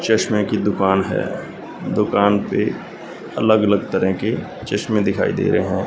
चश्मे की दुकान है दुकान पे अलग अलग तरह के चश्मे दिखाई दे रहे हैं।